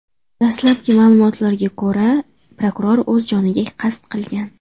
Dastlabki ma’lumotlarga ko‘ra, prokuror o‘z joniga qasd qilgan.